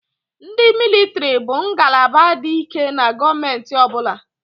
Ndị mịlịtịrị bụ ngalaba dị ike na gọọmentị ọ bụla.